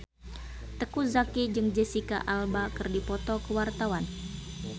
Teuku Zacky jeung Jesicca Alba keur dipoto ku wartawan